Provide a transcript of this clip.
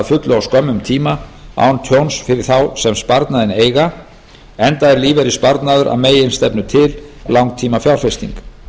fullu á skömmum tíma án tjóns fyrir þá sem sparnaðinn eiga enda er lífeyrissparnaður að meginstefnu til langtímafjárfesting